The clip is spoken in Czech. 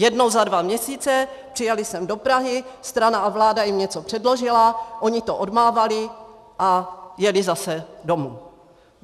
Jednou za dva měsíce přijeli sem do Prahy, strana a vláda jim něco předložila, oni to odmávali a jeli zase domů.